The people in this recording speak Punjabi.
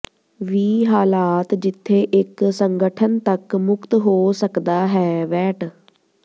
ਵੀ ਹਾਲਾਤ ਜਿੱਥੇ ਇੱਕ ਸੰਗਠਨ ਤੱਕ ਮੁਕਤ ਹੋ ਸਕਦਾ ਹੈ ਵੈਟ